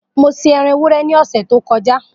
Mo se eran ewúrẹ́ ni ọ̀sẹ̀ tó kọjá